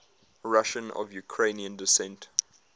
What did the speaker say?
russians of ukrainian descent